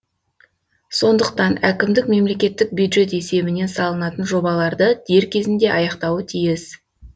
сондықтан әкімдік мемлекеттік бюджет есебінен салынатын жобаларды дер кезінде аяқтауы тиіс